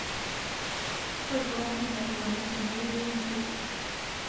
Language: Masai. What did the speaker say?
Ntoduaki neikoni teneyieri nkiri